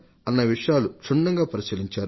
అన్న విషయాలను క్షుణ్ణంగా పరిశీలించారు